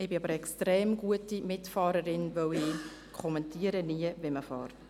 Ich bin aber eine extrem gute Mitfahrerin, weil ich nie kommentiere, wenn man fährt.